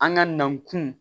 An ka na kun